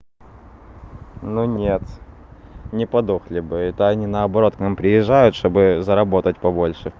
ну нет не подохли бы это они наоборот к нам приезжают что бы заработать по больше